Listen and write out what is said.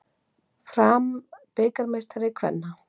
Fram bikarmeistari kvenna